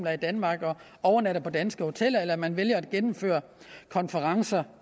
er i danmark og overnatter på danske hoteller eller hvis man vælger at gennemføre konferencer